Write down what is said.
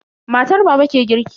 Matar baba ke girki.